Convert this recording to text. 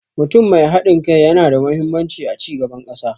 Mutum mai haɗin kai yana da mahimmanci a cigaban ƙasa.